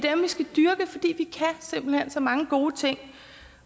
simpelt hen kan så mange gode ting